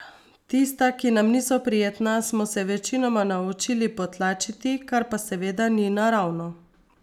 Tista, ki nam niso prijetna, smo se večinoma naučili potlačiti, kar pa seveda ni naravno.